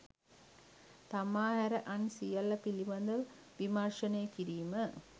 තමා හැර අන් සියල්ල පිළිබඳ විමර්ශනය කිරීම.